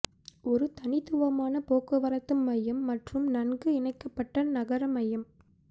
ஒரு தனித்துவமான போக்குவரத்து மையம் மற்றும் நன்கு இணைக்கப்பட்ட நகர மையம்